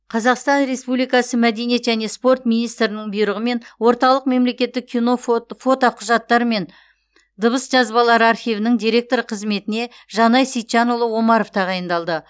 қазақстан республикасы және спорт министрінің бұйрығымен орталық мемлекеттік кино фотоқұжаттар мен дыбыс жазбалары архивінің директоры қызметіне жанай сейітжанұлы омаров тағайындалды